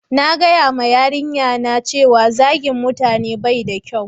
na gaya ma yarinya na cewa zagin mutane bai da kyau